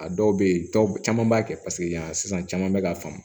A dɔw bɛ yen dɔw caman b'a kɛ paseke yan sisan caman bɛ ka faamu